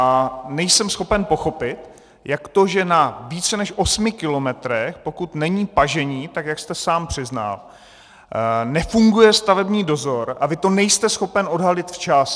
A nejsem schopen pochopit, jak to, že na více než osmi kilometrech, pokud není pažení, tak jak jste sám přiznal, nefunguje stavební dozor, a vy to nejste schopen odhalit včas.